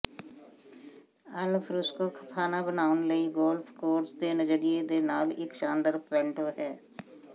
ਅਲ fresco ਖਾਣਾ ਬਣਾਉਣ ਲਈ ਗੋਲਫ ਕੋਰਸ ਦੇ ਨਜ਼ਰੀਏ ਦੇ ਨਾਲ ਇੱਕ ਸ਼ਾਨਦਾਰ ਪੈਂਟੋ ਹੈ